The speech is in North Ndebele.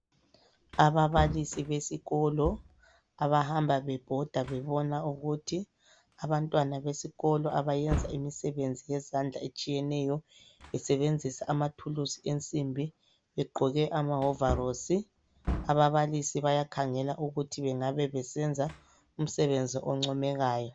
Ababalisi besikolo abahamba bebhoda bebona ukuthi abantwana besikolo abayenza imisebenzi yezandla etshiyeneyo besebenzisa amathulusi ensimbi begqoke amawovarosi. Ababalisi bayakhangela ukuthi bengabe besenza umsebenzi oncomekayo.